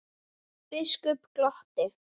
Biskup glotti.